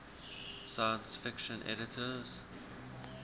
science fiction editors